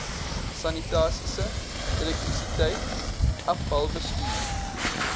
sanitasie elektrisiteit afvalbestuur